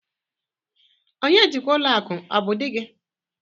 Onye njikwa ụlọ akụ ọ bụ di gị?